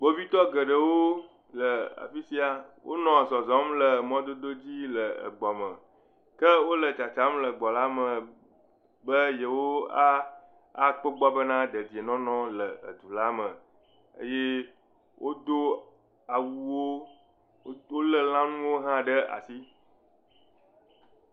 Kpovitɔ geɖewo le afi sia. Wonɔ zɔzɔm le mɔdodo dzi le egbɔme. Ke wole tsatsam le gbɔ la me be yewoakpɔ kpo egbɔ bena dedienɔnɔ le egbɔ la me eye wodo awuwo wo le lãnuwo hʋ ɖe asi.